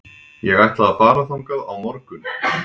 Ég ætla að fara þangað á morgun.